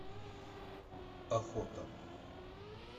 охота